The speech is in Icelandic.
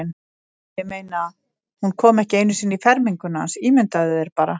Ég meina, hún kom ekki einu sinni í ferminguna hans, ímyndaðu þér bara.